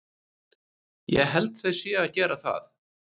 Ég held þau séu að gera það.